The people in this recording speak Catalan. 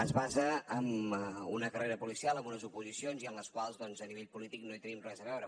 es basa en una carrera policial en unes oposicions i en les quals doncs a nivell polític no hi tenim res a veure